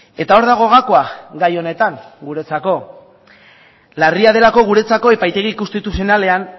eta hor dago gakoa gai honetan guretzako larria delako guretzako epaitegi konstituzionalean